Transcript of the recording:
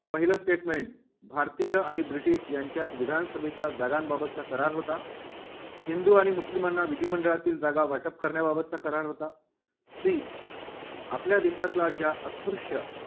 पहिलं statement भारतीय British यांच्यात विधानसभेच्या जागांबाबत करार होता. हिंदू आणि मुस्लिमांना विधिमंडळातील जागा वाटप करण्याबाबतचा करार होता, see आपल्या देशातला ज्या अस्पृश्य